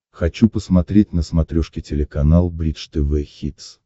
хочу посмотреть на смотрешке телеканал бридж тв хитс